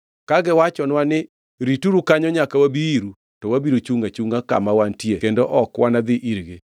Ka giwachonwa ni, ‘Rituru kanyo nyaka wabi iru,’ to wabiro chungʼ achungʼa kama wantie kendo ok wanadhi irgi.